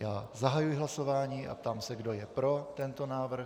Já zahajuji hlasování a ptám se, kdo je pro tento návrh.